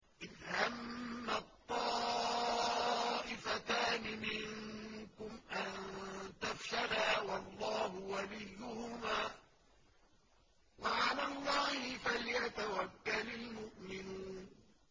إِذْ هَمَّت طَّائِفَتَانِ مِنكُمْ أَن تَفْشَلَا وَاللَّهُ وَلِيُّهُمَا ۗ وَعَلَى اللَّهِ فَلْيَتَوَكَّلِ الْمُؤْمِنُونَ